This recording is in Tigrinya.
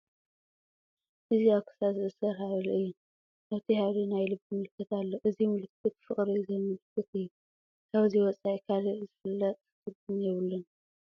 እዚ ኣብ ክሳድ ዝእሰር ሓብሊ እዩ፡፡ ኣብቲ ሃብሊ ናይ ልቢ ምልክት ኣሎ፡፡ እዚ ምልክት ፍቕሪ ዘምልክት እዩ፡፡ ካብዚ ወፃኢ ካልእ ዝፍለጥ ትርጉም የብሉን፡፡